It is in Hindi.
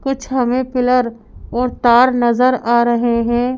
कुछ हमें पिलर और तार नजर आ रहे हैं।